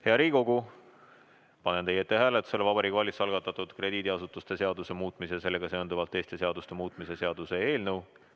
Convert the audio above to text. Hea Riigikogu, panen teie ette hääletusele Vabariigi Valitsuse algatatud krediidiasutuste seaduse muutmise ja sellega seonduvalt teiste seaduste muutmise seaduse eelnõu.